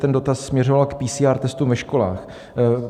Ten dotaz směřoval k PCR testům ve školách.